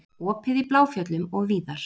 Opið í Bláfjöllum og víðar